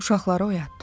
Uşaqları oyatdı.